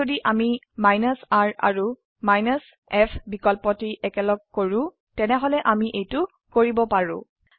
কিন্তু যদি আমি r আৰু f বিকল্পটি একেলগ কৰো তেনেহলে আমি এইটো কৰিব পাৰো